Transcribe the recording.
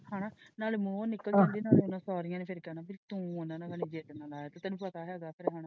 ਹੇਨਾ ਨਾਲੇ ਨਿਕਲ ਜਾਂਦੀ ਹੈ ਫੇਰ ਉਹਨਾਂ ਸਾਰੀਆਂ ਨੇ ਫੇਰ ਕਹਿਣਾ ਸੀ ਕੀ ਤੂੰ ਉਹਨਾਂ ਨਾਲ ਮਾਣਿਆ ਸੀ ਤੈਨੂੰ ਪਤਾ ਹੈਗਾ ਹੈ ਫੇਰ ਹੇਨਾ।